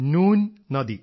നൂൻ നദി